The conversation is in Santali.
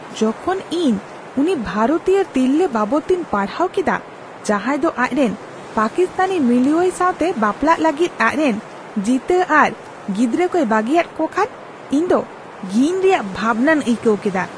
ᱡᱚᱠᱷᱚᱱ ᱤᱧ ᱩᱱᱤ ᱵᱷᱟᱨᱚᱛᱤᱭᱟᱹ ᱛᱤᱨᱞᱟᱹ ᱵᱟᱵᱚᱫ ᱛᱤᱧ ᱯᱟᱲᱦᱟᱣ ᱠᱮᱫᱟ ᱡᱟᱦᱟᱸᱭ ᱫᱚ ᱟᱡᱨᱮᱱ ᱯᱟᱠᱤᱥᱛᱟᱱᱤ ᱢᱤᱞᱩᱣᱟᱹᱭ ᱥᱟᱣᱛᱮ ᱵᱟᱯᱞᱟᱜ ᱞᱟᱹᱜᱤᱫ ᱟᱡᱨᱮᱱ ᱡᱤᱛᱟᱹ ᱟᱨ ᱜᱤᱫᱽᱨᱟᱹ ᱠᱚᱭ ᱵᱟᱹᱜᱤᱭᱟᱫ ᱠᱚᱣᱟ ᱠᱷᱟᱱ ᱤᱧᱫᱚ ᱜᱷᱤᱱ ᱨᱮᱭᱟᱜ ᱵᱷᱟᱵᱱᱟᱧ ᱟᱹᱭᱠᱟᱹᱣ ᱠᱮᱫᱟ ᱾